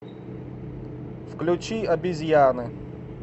включи обезьяны